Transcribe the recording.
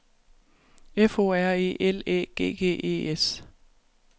F O R E L Æ G G E S